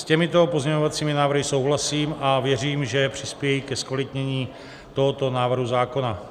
S těmito pozměňovacími návrhy souhlasím a věřím, že přispějí ke zkvalitnění tohoto návrhu zákona.